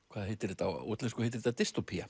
hvað heitir þetta á útlensku heitir þetta